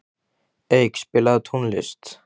Eik, spilaðu tónlist.